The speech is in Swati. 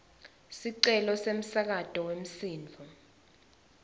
sicelo semsakato wemsindvo